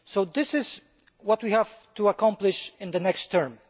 This is what we have to accomplish in the next term.